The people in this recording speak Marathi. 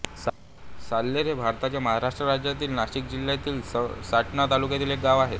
साल्हेर हे भारताच्या महाराष्ट्र राज्यातील नाशिक जिल्ह्यातील सटाणा तालुक्यातील एक गाव आहे